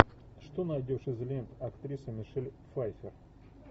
что найдешь из лент актрисы мишель пфайффер